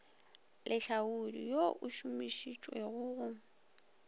lehlaodi wo o šomišitšwego go